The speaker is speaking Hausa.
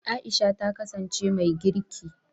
Aisha ta kasance mai girki.